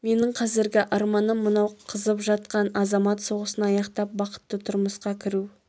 менің қазіргі арманым мынау қызып жатқан азамат соғысын аяқтап бақытты тұрмысқа кіру